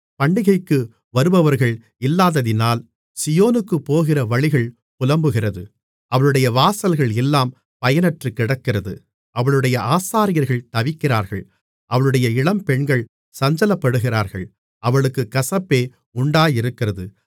பண்டிகைக்கு வருபவர்கள் இல்லாததினால் சீயோனுக்குப் போகிற வழிகள் புலம்புகிறது அவளுடைய வாசல்கள் எல்லாம் பயனற்றுக்கிடக்கிறது அவளுடைய ஆசாரியர்கள் தவிக்கிறார்கள் அவளுடைய இளம்பெண்கள் சஞ்சலப்படுகிறார்கள் அவளுக்குக் கசப்பே உண்டாயிருக்கிறது